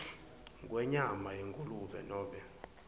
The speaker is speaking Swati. kwenyama yengulube nobe